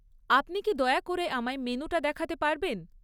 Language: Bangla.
আপনি কি দয়া করে আমায় মেনুটা দেখাতে পারবেন?